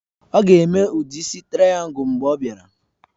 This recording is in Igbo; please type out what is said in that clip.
Ọ ga-eme udi isi traìyangul mgbe ọ bịara